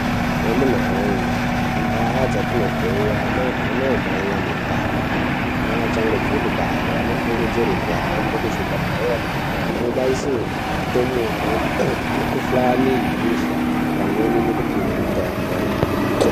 Amunawoye kundaa dzatinobve anamai ane ndane neachangobve kubare anokurudzirwe kuhambe kuzvibhehlere kobaise ndumure mikhuhlane yebesha pamwe nekupihwe mitombo.